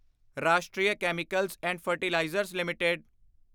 ਰਾਸ਼ਟਰੀ Chemicals and Fertilizers LTD